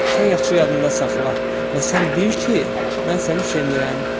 Sən yaxşı yadında saxla və sən bil ki, mən səni sevmirəm.